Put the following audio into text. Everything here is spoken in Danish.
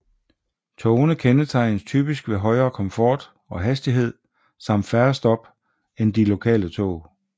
Togene kendetegnes typisk ved højere komfort og hastighed samt færre stop end de lokale tog